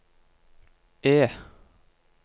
E